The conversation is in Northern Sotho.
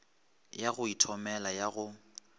ya go ithomela ya go